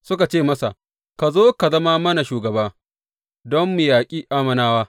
Suka ce masa, Ka zo ka zama mana shugaba, don mu yaƙi Ammonawa.